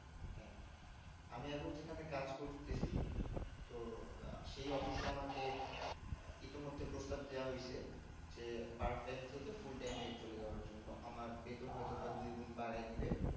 আমি এখন যেখানে কাজ করতেছি তো সেই office এ আমাকে ইতিমধ্যে প্রস্তাব দেওয়া হইছে যে part time থেকে full time এ চলে যাওয়ার জন্য আমার বেতন হয়তো বা দুই গুন বাড়ায় দিবে